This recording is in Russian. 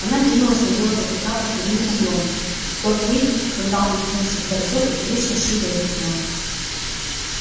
она кинулась на белого клыка под прямым углом в тот миг когда он метнулся к борзой и вторично сшибла его с ног